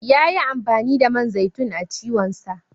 Yayi amfani da man zaiton a ciwonsa.